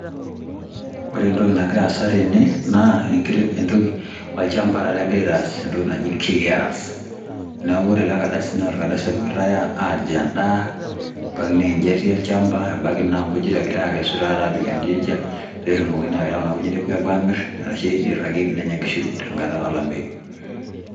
Ore entoki nagira aasa tene, naa entoki olchamba taata egirai aitaas entoki naji clearance. Neku ore ele kardasi na orkadasi opikitai aji endaa, ebaiki naa ejiati olchamba, ebaki na nkujit egirai akesu apik taata edejia, petumokini aita kuna kujit apuo amir, arashu irragieki nenya nkishu tenkata olameyu.